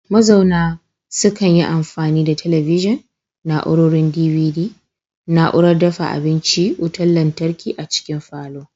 Mazauna sukan yi amfani da talabijin, na'urorin DVD, na'urar dafa abincin wutar lantarki a cikin falon